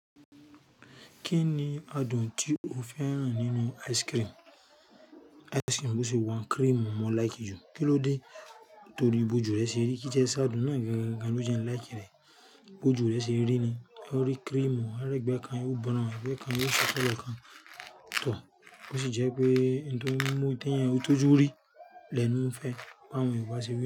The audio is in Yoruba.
Kí ni adùn tí o fẹ́ràn nínú ice cream? Ice cream bó ṣe wa n cream mo like jù. Kí ló dé? Torí bi ojù rẹ ṣe rí, kí ti e ṣe adun náà gangan ló jẹ́ ń like rẹ̀. Bó jù rẹ ṣe rí ni, ó rí cream, á rí ẹgbẹ́ kan, yo brown, ẹgbẹ́ kan yo fair lookan, too. Bó sì jẹ́ pé ǹtí ó mú ìtẹ́ náà yóò tọjú rí, lẹnu ń fẹ́, àwọn Yorùbá sì wí.